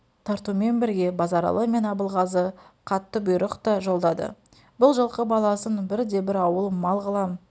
таратумен бірге базаралы мен абылғазы қатты бұйрық та жолдады бұл жылқы баласын бірде-бір ауыл мал қылам